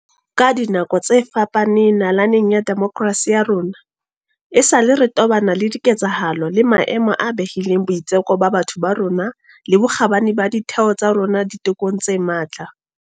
Ka dinako tse fapaneng nalaneng ya demokerasi ya rona, esale re tobana le diketsahalo le maemo a behileng boitseko ba batho ba bo rona le bokgabane ba ditheo tsa rona ditekong tse matla.